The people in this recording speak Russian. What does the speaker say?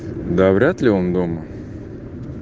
да вряд ли он дома